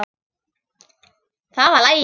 Það var lagið.